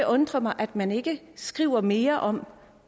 undre mig at man ikke skriver mere om